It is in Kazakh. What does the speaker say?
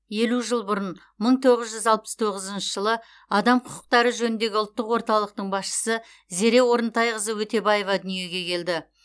елу жыл бұрын мың тоғыз жүз алпыс тоғызыншы жылы адам құқықтары жөніндегі ұлттық орталықтың басшысы зере орынтайқызы өтебаева дүниеге келді